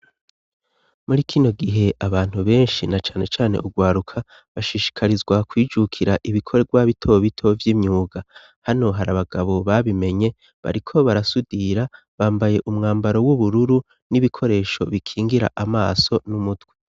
Muri kino gihe abantu benshi na cane cyane ugwaruka bashishikarizwa kwijukira ibikorwa bito bito vy'imyuga hano hari abagabo babimenye bariko barasudira bambaye umwambaro w'ubururu n'ibikoresho bikingira amaso numutwe.